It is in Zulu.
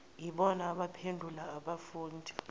yibona abaphendula kubafundi